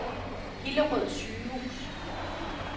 Hillerød Sygehus